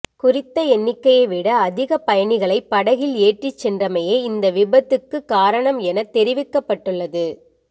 குறித்த எண்ணிக்கையை விட அதிக பயணிகளை படகில் ஏற்றிச் சென்றமையே இந்த விபத்துக்கு காரணம் எனத் தெரிவிக்கப்பட்டுள்ளது